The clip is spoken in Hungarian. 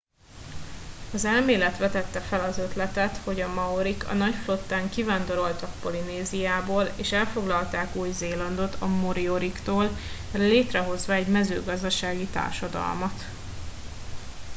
az elmélet vetette fel az ötletet hogy a maorik a nagy flottán kivándoroltak polinéziából és elfoglalták új zélandot a morioriktól létrehozva egy mezőgazdasági társadalmat